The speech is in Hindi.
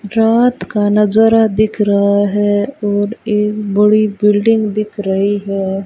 रात का नजारा दिख रहा है और एक बड़ी बिल्डिंग दिख रही है।